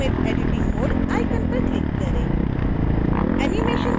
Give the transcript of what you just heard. turn off animate editing mode icon पर click करें